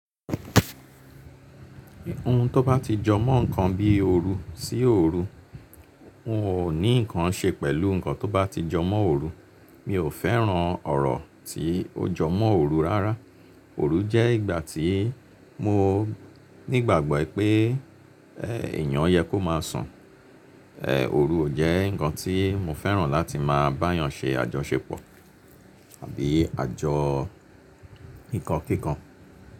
Ohun tó bá ti jọ mọ́ nǹkan bí i òru sí òru, n ò ní nǹkan ṣe pẹ̀lú nǹkan tó bá ti jọ mọ́ oòru. Mi ò fẹ́ràn ọ̀rọ̀ tí ó jọ mọ́ òru rárá. Òru jẹ́ ìgbà tí mo ní ìgbàgbọ́ pé èèyàn yẹ kó máa sùn. Èè òru ò jẹ́ nǹkan tí mo fẹ́ràn láti máa bá èèyàn ṣe àjọṣepọ̀ àbí àjọ kíkankíkan.